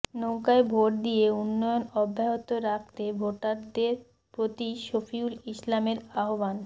নৌকায় ভোট দিয়ে উন্নয়ন অব্যাহত রাখতে ভোটারদের প্রতি শফিউল ইসলামের আহবান